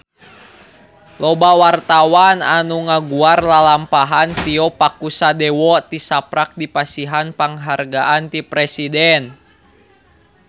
Loba wartawan anu ngaguar lalampahan Tio Pakusadewo tisaprak dipasihan panghargaan ti Presiden